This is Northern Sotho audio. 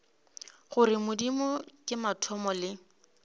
gore modimo ke mathomo le